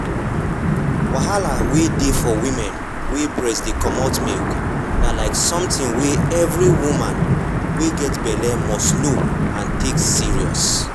wahala wey dey for woman wey breast dey comot milk na like something wey every every woman wey get belle must know and take serious.